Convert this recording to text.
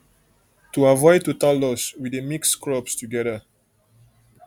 to avoid total loss we dey mix crops together